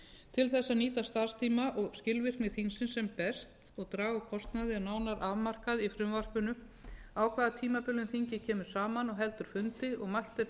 til þess að nýta starfstíma og skilvirkni þingsins sem best og draga úr kostnaði er nánar afmarkað í frumvarpinu á hvaða tímabilum þingið kemur saman og heldur fundi og mælt er fyrir um störf